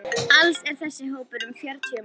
Alls er þessi hópur um fjörutíu manns.